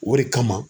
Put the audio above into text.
O de kama